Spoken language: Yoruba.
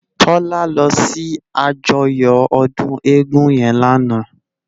Tola lò si àjòyò òdún égùn yèn làná